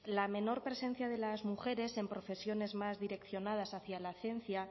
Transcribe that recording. la menor presencia de las mujeres en profesiones más direccionadas hacia la ciencia